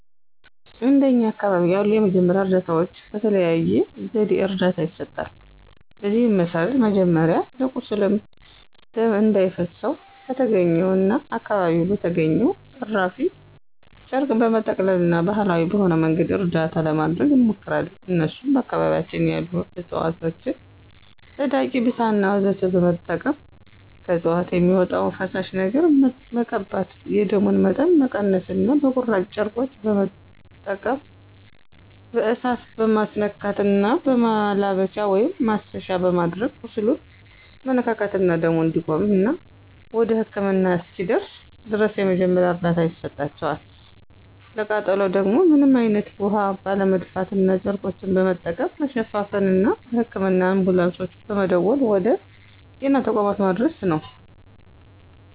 እንደኛ አካባቢ ያሉ የመጀመሪያ እርዳታዎች በተለያየ ዘዴ እርዳታ ይሰጣል። በዚህም መሰረት መጀመሪያ ለቁስል ደም እንዳይፈሰው በተገኘውና አካባቢው በተገኘው እራፊ ጨርቅ በመጠቅለልና ባሀላዊ በሆነ መንገድ እርዳታ ለማድረግ እንሞክራለን እነሱም በአካባቢያችን ያሉ እፅዋቶችን ፀዳቂ፣ ብሳና ወዘተ በመጠቀም ከእፅዋቶች በሚወጣው ፈሳሽ ነገር በመቀባት የደሙን መጠን መቀነስና በቁራጭ ጨርቆች በመጠቀም በእሳት መማስነካትና በማላበቻ(ማሰሻ)በማድረግ ቁስሉን መነካካትና ደሙ እንዲቆምና ወደ ህክምና እስኪደርስ ድረስ የመጀመሪያ እርዳታ ይሰጣቸዋል፣ ለቃጠሎ ደግሞ ምንም አይነት ውሀ ባለመድፋትና ጨርቆችን በመጠቀም መሸፋፈንና ለህክምና አንቡላንሶች በመደወል ወደ ጤና ተቋማት ማድረስ ነው።